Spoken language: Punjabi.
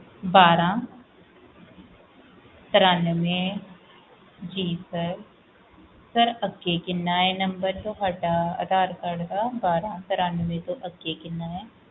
ਬਾਰਾਂ ਤਾਰਾਂਵੇ ਜੀ sir ਅੱਗੇ ਕਿੰਨਾ ਏ number ਤੁਹਾਡਾ ਅਧਾਰ card ਦਾ ਬਾਰਾਂ ਤਾਰਾਂਵੇ ਦੇ ਅੱਗੇ ਕਿੰਨੇ ਆ sir